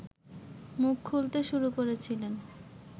মুখ খুলতে শুরু করেছিলেন